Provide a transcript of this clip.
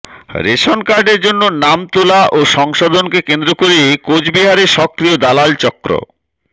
ration কার্ডের জন্য নাম তোলা ও সংশোধনকে কেন্দ্র করে কোচবিহারে সক্রিয় দালাল চক্র